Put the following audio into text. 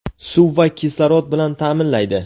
suv va kislorod bilan ta’minlaydi.